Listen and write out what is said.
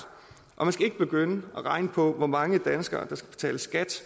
og man skal ikke begynde at regne på hvor mange danskere der skal betale skat